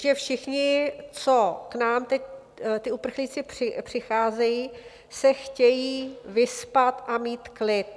Že všichni, co k nám teď ti uprchlíci přicházejí, se chtějí vyspat a mít klid.